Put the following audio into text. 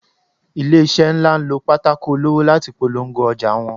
ilese nla n lọ pàtàkó olọwọ latí pọlọngó ojà wón